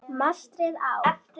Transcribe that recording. Mastrið á